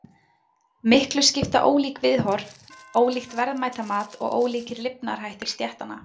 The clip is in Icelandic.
Miklu skipta ólík viðhorf, ólíkt verðmætamat og ólíkir lifnaðarhættir stéttanna.